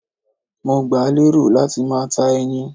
Mo gbà lérò láti máa ta ẹyin